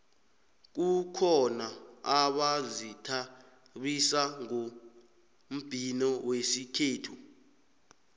kukhona abazithabisa ngombhino wesikhethu